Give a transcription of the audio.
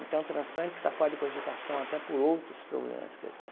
Então o transplante está fora de cogitação até por outros problemas que eu tenho.